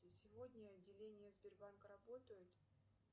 сегодня отделения сбербанка работают